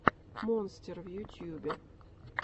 монстер в ютюбе